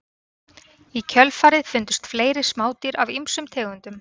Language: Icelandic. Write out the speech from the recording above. Í kjölfarið fundust fleiri smádýr af ýmsum tegundum.